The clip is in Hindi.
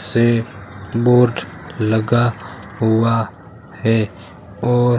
से बोर्ड लगा हुआ है और--